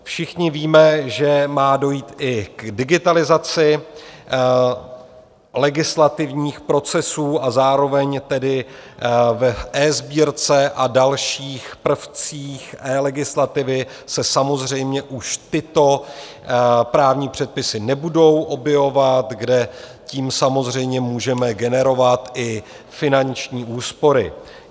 Všichni víme, že má dojít i k digitalizaci legislativních procesů, a zároveň tedy v eSbírce a dalších prvcích eLegislativy se samozřejmě už tyto právní předpisy nebudou objevovat, kde tím samozřejmě můžeme generovat i finanční úspory.